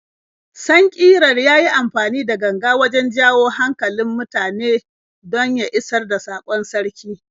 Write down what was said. Sankiran ya yi amfani da ganga wajen jawo hankalin mutane don ya isar da saƙon sarki.